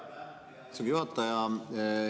Aitäh, hea istungi juhataja!